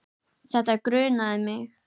Þetta grunaði mig.